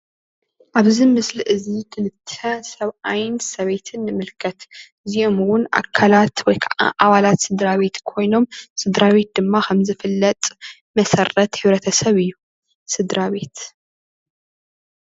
ኣብዚ ምስሊ እዚ ክልተ ሰብኣይን ሰበይትን ንምልከት. እዚኦም እውን ኣካላት ወይካዓ ኣባላት ስድራ ቤት ኮይኖም ስድራ ቤት ድማ ከም ዝፍለጥ መሰረት ሕብረተሰብ እዩ ስድራቤት።